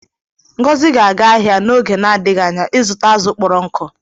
Ngozi ga-aga ahịa n'oge na-adịghị anya ịzụta azụ̀ kpọrọ nkụ.